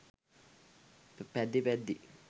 පැද්දී පැද්දී